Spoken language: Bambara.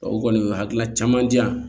O kɔni o hakilina caman di yan